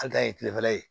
An ta ye kilefɛla ye